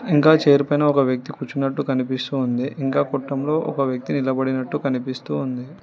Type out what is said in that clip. ఇంకా చైర్ పైన ఒక వ్యక్తి కూర్చున్నట్టు కనిపిస్తూ ఉంది ఇంకా కొట్టంలో ఒక వ్యక్తి నిలబడినట్టు కనిపిసస్తూ ఉంది.